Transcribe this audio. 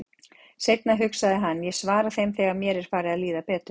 Seinna, hugsaði hann, ég svara þeim þegar mér er farið að líða betur.